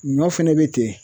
Ɲɔ fɛnɛ be ten.